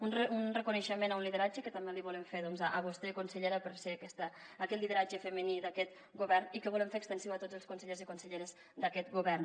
un reconeixement a un lideratge que també li volem fer a vostè consellera per ser aquest lideratge femení d’aquest govern i que volem fer extensiu a tots els consellers i conselleres d’aquest govern